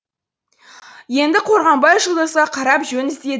енді қорғанбай жұлдызға қарап жөн іздеді